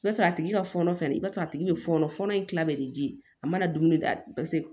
I b'a sɔrɔ a tigi ka fɔnɔ fɛnɛ i b'a sɔrɔ a tigi be fɔnɔ fɔɔnɔ in kila de ji a mana dumuni daminɛ paseke